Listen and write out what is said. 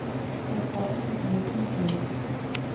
поставь запретный плод